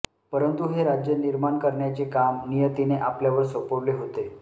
परंतु हे राज्य निर्माण करण्याचे काम नियतीने आपल्यावर सोपवले होते